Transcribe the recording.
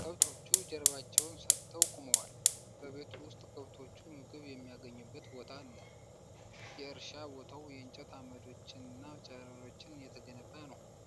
ከብቶቹ ጀርባቸውን ሰጥተው ቆመዋል። በቤቱ ዉስጥ ከብቶቹ ምግብ የሚያገኙበት ቦታ አለ። የእርሻ ቦታው በእንጨት ዓምዶችና ጨረሮች የተገነባ ነው።